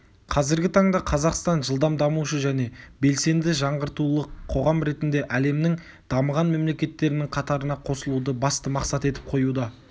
қазіргі таңда қазақстан жылдам дамушы және белсенді жаңғыртулық қоғам ретінде әлемнің дамыған мемлекеттерінің қатарына қосылуды басты мақсат етіп қоюда